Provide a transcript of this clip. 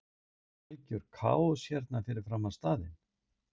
Myndast ekki algjör kaos hérna fyrir framan staðinn?